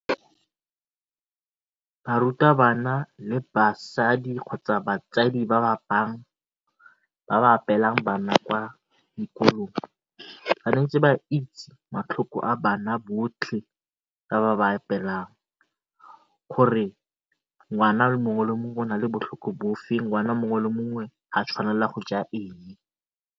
Barutabana le basadi kgotsa batsadi ba ba bang ba ba apeelang bana kwa dikolong ba ne ntse ba itse a bana botlhe ba ba ba apeelang gore ngwana mongwe le mongwe o na le bofe, ngwana mongwe le mongwe ga a tshwanela go ja eng.